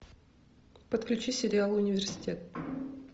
подключи сериал университет